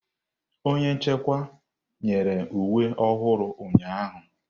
Onye nchịkwa nyere uwe ọhụrụ ụnyahụ.